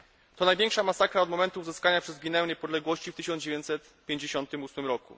To największa masakra od momentu uzyskania przez Gwineę niepodległości w 1958 r.